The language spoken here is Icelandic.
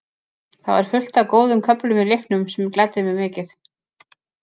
Það var fullt af góðum köflum í leiknum sem gladdi mig mikið.